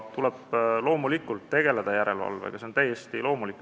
Loomulikult tuleb tegeleda järelevalvega, see on täiesti loomulik.